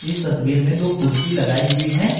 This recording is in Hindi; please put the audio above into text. इस तस्वीर मे दो कुर्सी लगाई हुई है।